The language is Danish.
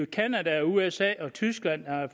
canada usa og tyskland er